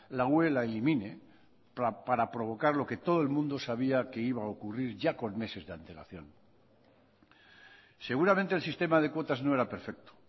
la ue la elimine para provocar lo que todo el mundo sabía que iba a ocurrir ya con meses de antelación seguramente el sistema de cuotas no era perfecto